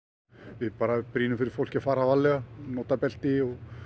við bara brýnum fyrir fólki að fara varlega nota belti